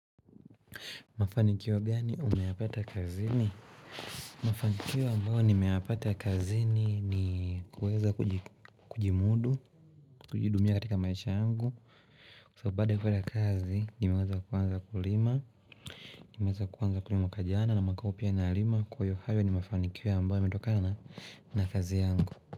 Mafanikio gani umeyapata kazini? Mafanikiwa ambayo nimeyapata kazini ni kuweza kujimudu, kujihudumia katika maisha yangu So baada kupata kazi nimeweza kuanza kulima, nimeweza kuwanza kulima mwakajana na mwakahuu pia na lima Kwahiyo hayo ni mafanikiwa ambayo yametokana na kazi yangu.